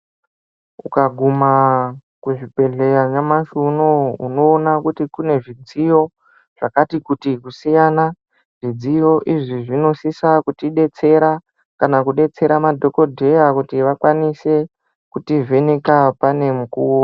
Uka guma ku zvibhedhleya nyamashi unowu onoona kuti kune zvidziyo zvakati kuti kusiyana zvidziyo izvi zvinosisa kuti detsera kana ku detsera madhokodheya kuti vakwanise kuti vheneka pane mukuwo .